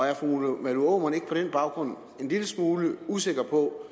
er fru malene aamund ikke på den baggrund en lille smule usikker på